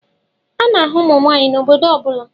A na-ahụ ụmụ nwanyị n'obodo ọ bụla